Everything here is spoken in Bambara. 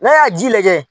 N'a y'a ji lajɛ